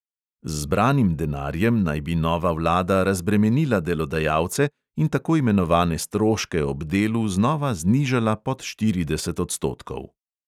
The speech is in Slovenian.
Z zbranim denarjem naj bi nova vlada razbremenila delodajalce in tako imenovane stroške ob delu znova znižala pod štirideset odstotkov.